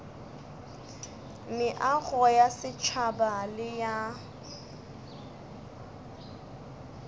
meago ya setšhaba le ya